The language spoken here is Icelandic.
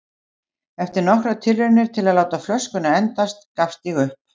Eftir nokkrar tilraunir til að láta flöskuna endast gafst ég upp.